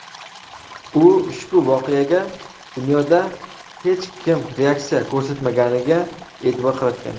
u ushbu voqeaga dunyoda hech kim reaksiya ko‘rsatmaganiga e’tibor qaratgan.